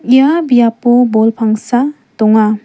ia biapo bol pangsa donga.